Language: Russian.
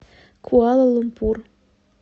куала лумпур